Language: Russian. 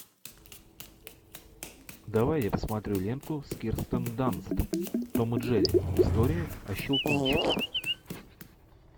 давай я посмотрю ленту с кирстен данст том и джерри история о щелкунчике